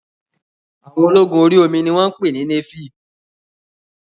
Àwọn ológun orí omi ni wọ́n pè ní néfì